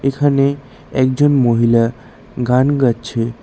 এখানে একজন মহিলা গান গাচ্ছে।